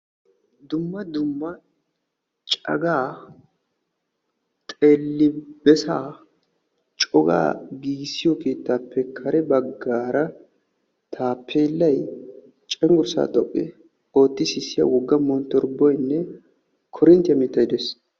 Dumma dumma cagaa xeelli besaa cogaa giigissiyo keettaappe kare baggaara taappeellay cenggurssaa xoqqu ootti sissiya wogga monttoribboynne korinttiya mittay dees.